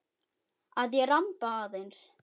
Að ég ramba aðeins.